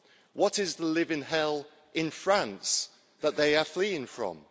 What is the living hell in France that they are fleeing from?